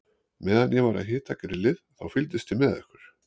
Meðan ég var að hita grillið, þá fylgdist ég með ykkur.